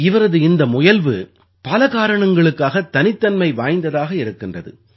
இவரது இந்த முயல்வு பல காரணங்களுக்காகத் தனித்தன்மை வாய்ந்ததாக இருக்கின்றது